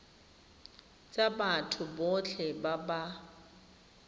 tsa batho botlhe ba ba